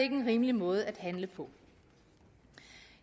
en rimelig måde at handle på